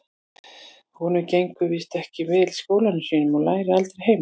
Honum gengur víst ekki vel í skólanum sínum og lærir aldrei heima.